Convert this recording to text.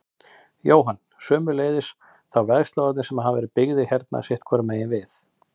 Jóhann: Sömuleiðis þá vegslóðarnir sem hafa verið byggðir hérna sitthvoru megin við?